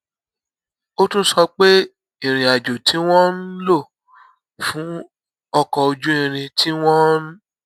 ó tún sọ pé ìrìn àjò tí wón ń lò fún ọkò ojú irin tí wón